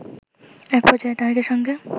একপর্যায়ে তারেকের সঙ্গে